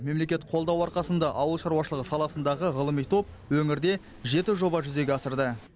мемлекет қолдауы арқасында ауыл шаруашылығы саласындағы ғылыми топ өңірде жеті жоба жүзеге асырды